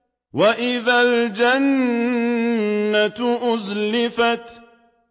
وَإِذَا الْجَنَّةُ أُزْلِفَتْ